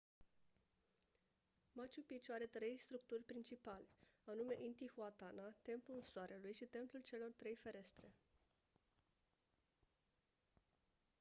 machu picchu are trei structuri principale anume intihuatana templul soarelui și templul celor trei ferestre